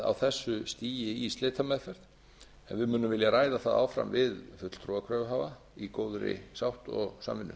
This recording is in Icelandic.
á þessu stigi í slitameðferð en við munum vilja ræða það áfram við fulltrúa kröfuhafa í góðri sátt og samvinnu